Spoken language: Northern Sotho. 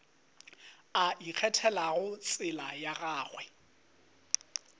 a ikgethelago tsela ya gagwe